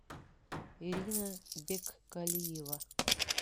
ирина беккалиева